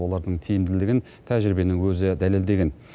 олардың тиімділігін тәжірибенің өзі дәлелдеген